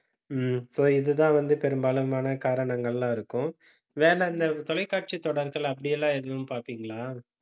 உம் so இதுதான் வந்து பெரும்பாலுமான காரணங்கள் எல்லாம் இருக்கும். வேணா, இந்தத் தொலைக்காட்சித் தொடர்கள் அப்படி எல்லாம் எதுவும் பார்ப்பீங்களா